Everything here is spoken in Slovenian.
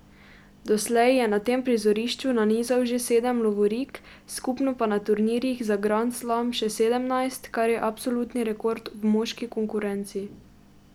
Doslej je na tem prizorišču nanizal že sedem lovorik, skupno pa na turnirjih za grand slam že sedemnajst, kar je absolutni rekord v moški konkurenci.